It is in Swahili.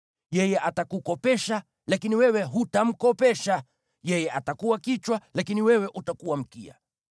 Yeye atakukopesha, lakini wewe hutamkopesha. Yeye atakuwa kichwa, lakini wewe utakuwa mkia.